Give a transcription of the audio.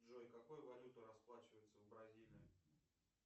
джой какой валютой расплачиваются в бразилии